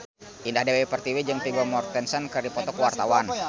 Indah Dewi Pertiwi jeung Vigo Mortensen keur dipoto ku wartawan